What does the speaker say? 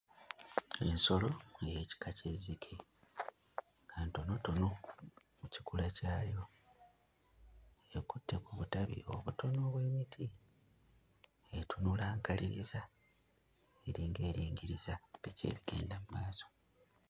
Ensolo ey'ekika ky'ezzike. Ntonotono mu kikula kyayo. Ekutte ku butabi obutono obw'omuti. Etunula nkaliriza eringa eringiriza biki ebigenda mu maaso.